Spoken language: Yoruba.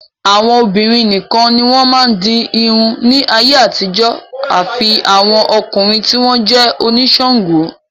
Àwọn obìnrin nìkan ni wọ́n máa ń di irun ní ayé àtijọ́ àfi àwọn ọkùnrin tí wọ́n jẹ́ oníṣàǹgó.